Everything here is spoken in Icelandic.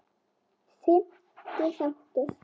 Fimmti þáttur